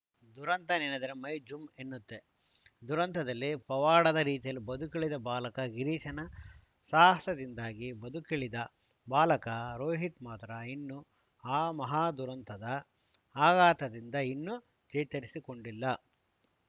ದುರಂತ ನೆನೆದರೆ ಮೈ ಜುಂ ಎನ್ನುತ್ತೆ ದುರಂತದಲ್ಲಿ ಪವಾಡದ ರೀತಿಯಲ್ಲಿ ಬದುಕುಳಿದ ಬಾಲಕ ಗಿರೀಶ್‌ನ ಸಾಹಸದಿಂದಾಗಿ ಬದುಕುಳಿದ ಬಾಲಕ ರೋಹಿತ್‌ ಮಾತ್ರ ಇನ್ನೂ ಆ ಮಹಾದುರಂತದ ಆಘಾತದಿಂದ ಇನ್ನೂ ಚೇತರಿಸಿಕೊಂಡಿಲ್ಲ